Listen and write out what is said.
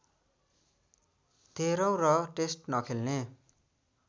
तेह्रौँ र टेस्ट नखेल्ने